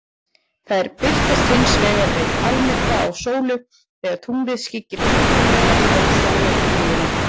Þær birtast hins vegar við almyrkva á sólu, þegar tunglið skyggir fullkomlega á sólarkringluna.